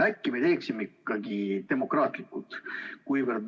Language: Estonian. Äkki me teeksime ikkagi demokraatlikult?